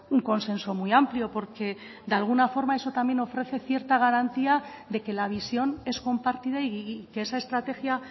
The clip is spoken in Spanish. un consenso muy amplio porque de alguna forma eso también ofrece cierta garantía de que la visión es compartida y que esa estrategia